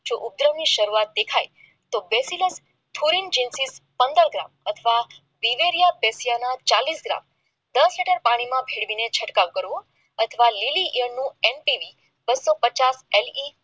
જો ઉપદ્રવ ની શરૂઆત દેખાય તો દેશી લવ ધોરણ પંદર ગ્રામ આઠવા દિવેલીયા પેશીયાના ચાલીસ ગ્રામ દસ લીટર પાણીમાં ભેળવીને છંટકાવ કરવો અઠવા બસોપચાસ એલ